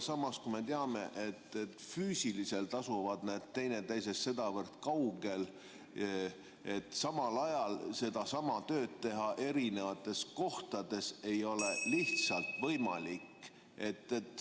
Samas, me teame, et füüsiliselt asuvad need teineteisest sedavõrd kaugel, et samal ajal sedasama tööd teha eri kohtades ei ole lihtsalt võimalik.